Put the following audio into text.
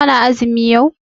Kana azumi yau?